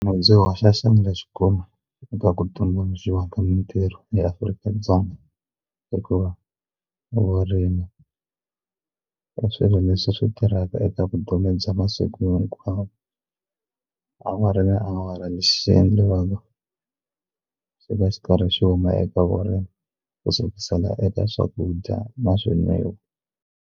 hoxa xandla kuma eka ku tumbuluxiwa ka mitirho eAfrika-Dzonga hikuva vurimi i swilo leswi tirhaka eka vutomi bya vona masiku hinkwawo awara na awara lexi xi endliwaku swi va swi karhi swi huma eka vurimi ku sukisela eka swakudya na swo nwiwa.